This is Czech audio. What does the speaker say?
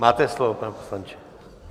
Máte slovo, pane poslanče.